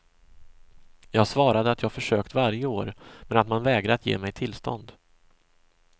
Jag svarade att jag försökt varje år, men att man vägrat ge mig tillstånd.